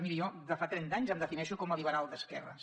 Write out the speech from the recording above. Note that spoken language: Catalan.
miri jo de fa trenta anys em defineixo com a liberal d’esquerres